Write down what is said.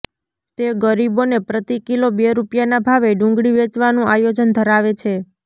તે ગરીબોને પ્રતિ કિલો બે રૂપિયાના ભાવે ડુંગળી વેચવાનું આયોજન ધરાવે છે